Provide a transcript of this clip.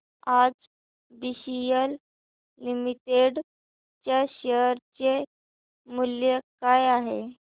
आज BCL limited च्या share चे मूल्य काय आहे